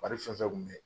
Wari fɛn fɛn kun bɛ